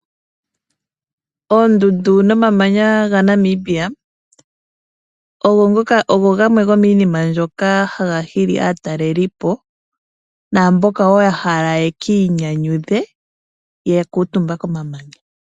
Oondundu nomamanya gaNamibia ogo gamwe gomiinima mbyoka haga hili aatalelipo, naamboka ya hala yeki inyanyudhe yakuutumba komamanya.